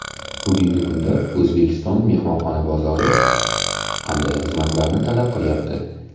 Bugungi kunda O‘zbekiston mehmonxona bozori qanday xizmatlarni talab qilayapti?